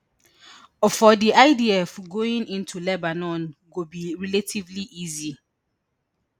for di idf going into lebanon go be relatively easy